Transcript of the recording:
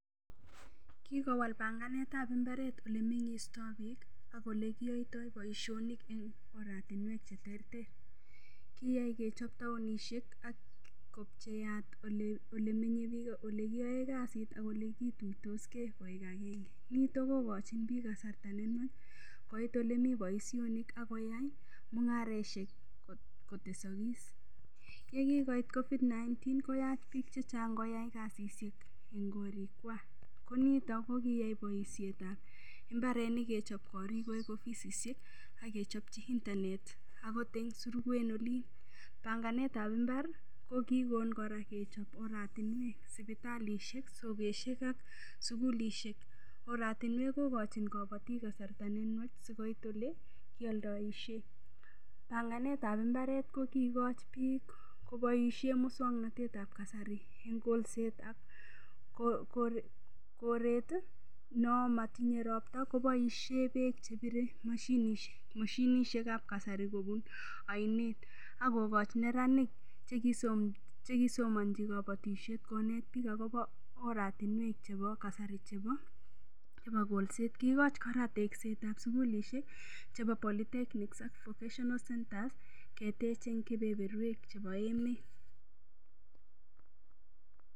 Kikowal panganetab imbaret ole meng'istoi biik ak ole kiyoitoi boishonik eng' oratinwek cheterter kiyai kechop taonishek ak kopcheat ole menyei biik ole kiyoe kasit ak ole kituitosgei koek agenge nito kokochin biik kasarta nenwach koit ole mi boishonik akoyai mung'areshek kotesokos ye kingoit COVID-19 koyach biik chechang' koyai kasishek eng' korikwach ko nito kokiyai boishetab mbarenik kechop korik koek ofisishek akechopchi internet akot eng' surukwen olin panganetab imbar kokikon kora kechop oratinwek sipitalishek sokeshek ak sukulishek oratinwek kokochin kabotik kasarta nenwach sikobit ole kioldoishe panganetab imbaret ko kiikoch biik koboishe muswang'natet ab kasari eng' kolset ak koret no matinyei ropta koboishe beek chebirei mashinishekab kasari kobun oinet akokoch neranik chekisomonji kabotishet konet biik akobo oratinwek chebo kasari chebo kolset kiikoch kora teksetab sukulishek chebo polity technics ak vocational centres ketech eng' kepeperwek chebo emet